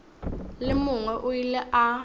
le mongwe o ile a